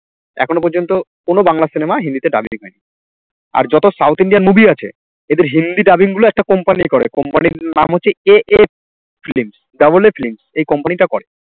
এখনো পর্যন্ত কোনো বাংলা cinema হিন্দিতে dubbing হয়নি, আর যত south Indian movie আছে এদের হিন্দি dubbing গুলো একটা company করে company র নাম হচ্ছে AAfilm doubleAAfilm এই company টা করে